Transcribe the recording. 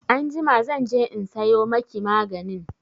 Anjima zan je in sayo maki maganin.